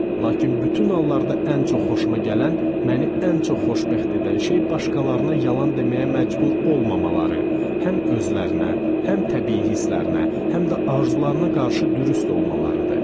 Lakin bütün hallarda ən çox xoşuma gələn, məni ən çox xoşbəxt edən şey başqalarına yalan deməyə məcbur olmamaları, həm özlərinə, həm təbii hisslərinə, həm də arzularına qarşı dürüst olmalarıdır.